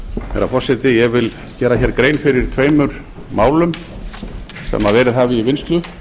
herra forseti ég vil gera hér grein fyrir tveimur málum sem verið hafa í vinnslu